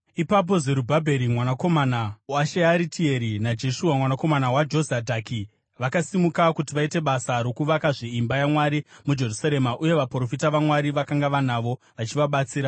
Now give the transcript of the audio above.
Ipapo Zerubhabheri mwanakomana waShearitieri naJeshua mwanakomana waJozadhaki, vakasimuka kuti vaite basa rokuvakazve imba yaMwari muJerusarema. Uye vaprofita vaMwari vakanga vanavo, vachivabatsira.